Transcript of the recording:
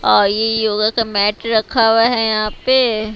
और ये योगा का मैट रखा हुआ है यहां पे--